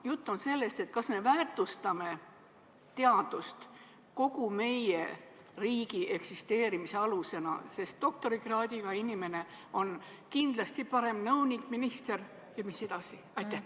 Jutt on olnud sellest, kas me väärtustame teadust kogu meie riigi eksisteerimise alusena, sest doktorikraadiga inimene on kindlasti parem nõunik ja minister jne.